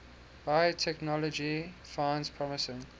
biotechnology finds promising